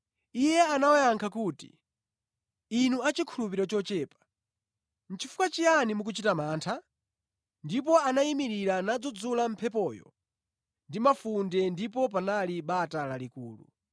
Iye anawayankha kuti, “Inu achikhulupiriro chochepa, chifukwa chiyani mukuchita mantha?” Ndipo anayimirira nadzudzula mphepoyo ndi mafunde ndipo panali bata lalikulu.